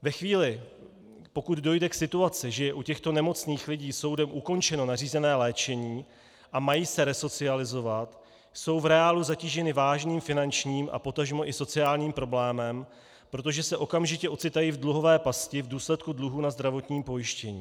Ve chvíli, pokud dojde k situaci, že je u těchto nemocných lidí soudem ukončeno nařízené léčení a mají se resocializovat, jsou v reálu zatíženy vážným finančním a potažmo i sociálním problémem, protože se okamžitě ocitají v dluhové pasti v důsledku dluhů na zdravotním pojištění.